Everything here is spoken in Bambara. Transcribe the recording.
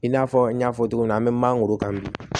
I n'a fɔ n y'a fɔ cogo min na an bɛ mangoro kan bi